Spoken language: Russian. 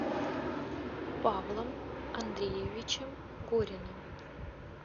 павлом андреевичем гориным